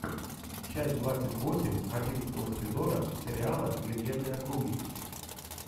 часть двадцать восемь одиннадцатого сезона сериала легенды округи